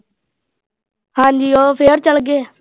ਹਾਂ ਜੀ ਉਹ ਫ਼ੇਰ ਚਲ ਗਏ।